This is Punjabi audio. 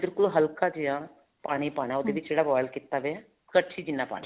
ਬਿਲਕੁਲ ਹਲਕਾ ਜਿਹਾ ਪਾਣੀ ਪਾਣਾ ਹੈ ਉਹਦੇ ਜਿਹੜਾ boil ਕੀਤਾ ਪਿਆ ਕੜਛੀ ਜਿੰਨਾ ਪਾਣੀ